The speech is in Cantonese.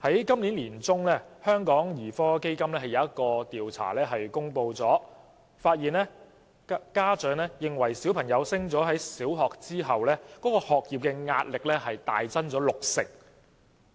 今年年中，香港兒科基金公布的一項調查發現，家長認為子女升讀小學後，學業壓力大增六成。